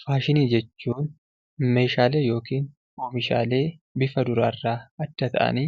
Faashinii jechuun meeshaalee yookiin oomishaalee bifa duraarraa adda ta'anii